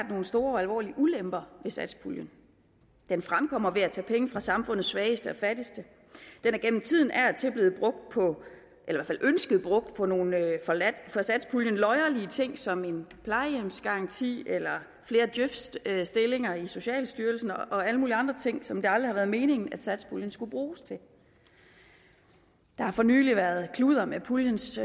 nogle store og alvorlige ulemper ved satspuljen den fremkommer ved at tage penge fra samfundets svageste og fattigste den er igennem tiden af og til blevet i hvert fald ønsket brugt på nogle for satspuljen løjerlige ting som plejehjemsgaranti eller flere djøf stillinger i socialstyrelsen og alle mulige andre ting som det aldrig har været meningen at satspuljen skulle bruges til der har for nylig været kludder med puljens